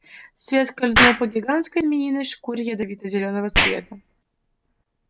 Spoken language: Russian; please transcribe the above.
свет скользнул по гигантской змеиной шкуре ядовито-зелёного цвета